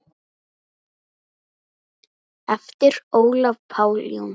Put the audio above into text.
eftir Ólaf Pál Jónsson